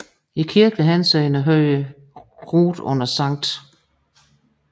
I kirkelig henseende hørte Rude under Skt